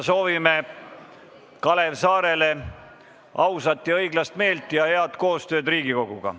Soovime Kalev Saarele ausat ja õiglast meelt ja head koostööd Riigikoguga.